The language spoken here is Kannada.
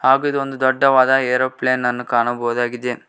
ಹಾಗು ಇದು ಒಂದು ದೊಡ್ಡವಾದ ಏರೋಪ್ಲೇನ್ ಅನ್ನು ಕಾಣಬಹುದಾಗಿದೆ.